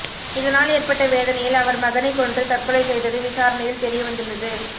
இதனால் ஏற்பட்ட வேதனையில் அவர் மகனை கொன்று தற்கொலை செய்தது விசாரணையில் தெரியவந்துள்ளது